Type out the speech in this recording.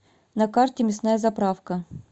на карте мясная заправка